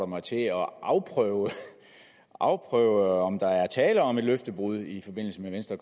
mig til at afprøve afprøve om der er tale om et løftebrud i forbindelse med venstre